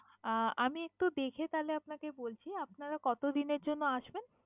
আহ আমি একটু দেখে তাহলে আপনাকে বলছি। আপনারা কতদিনের জন্যে আসবেন?